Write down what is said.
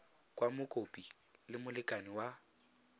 kwa mokopi le molekane wa